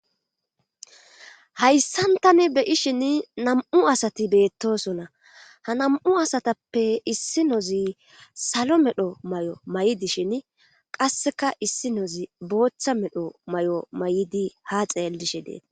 Hayssan tani beyishin nam'u asati beettosona. Ha nam'u asatappe issi nozi salo medho mayo mayidashin qasseka issi nozi booththa medho mayo mayidi ha xeellishe deetes.